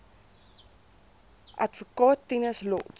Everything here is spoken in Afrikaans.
adv tinus lotz